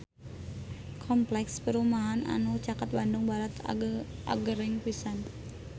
Kompleks perumahan anu caket Bandung Barat agreng pisan